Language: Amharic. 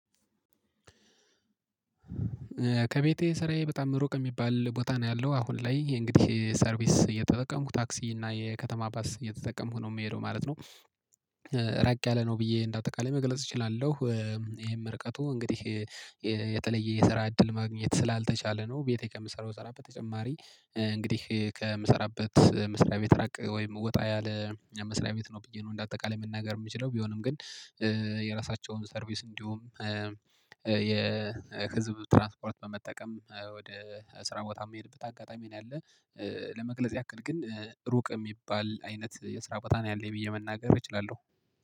ከቤቴ ስራዬ በጣም ሩቅ የሚባል ቦታ ነው ያለው አሁን ላይ የእንግዲህ ሰርቪስ እየተጠቀምኩ ታክሲ እና የከተማ ባስ እየተጠቀምኩ ነው የምሄደው ማለት ነው። ራቅ ያለ ነው ብዬ እንዳጠቃላይ ብዬ መግለጽ እችላለሁ። ይሄም ርቀቱ እንግዲህ የተለየ የስራ እድል ማግኘት ስላልተቻለ ነው። ቤቴ ከምሰራው ተጨማሪ እንግዲህ ከምሰራበት መስሪያ ቤት ራቅ ወይም ወጣ ያለ መስሪያ ቤት ነው ብዬ ነው እንደ አጠቃላይ መናገር የምችለው ቢሆንም ግን። የራሳቸውም ሰርቪስ እንዲሁም የህዝብ ትራንስፖርት በመጠቀም ወደ ስራ ቦታ የምሄድበት አጋጣሚ ነው ያለው። ለመግለጽ ያክል ግን ሩቅ የሚባል አይነት የስራ ቦታ ነው ያለኝ ብዬ መናገር እችላለሁ